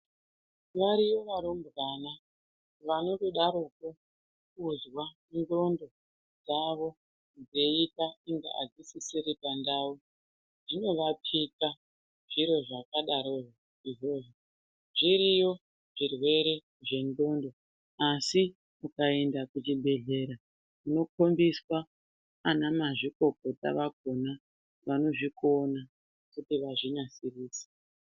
Variyo varumbwana vanotodaropo kuzwai ngqondo dzavo dzeyita kunge adzisisiri pandawo zvinovapiqa zviro zvakadaro izvozvo zviriyo zvirwere zvegqondo asi ukaenda kuchibhedhleya unokombisa ana mazvikokota akona vanozvikona kuti vazvinasirise.